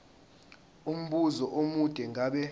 umbuzo omude ngabe